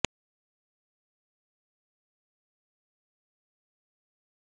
इसका उपयोग सॉन्ग बदलने में भी किया जा सकता है